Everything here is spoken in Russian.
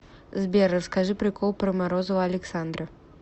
сбер расскажи прикол про морозова александра